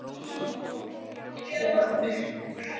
Kári, spilaðu tónlist.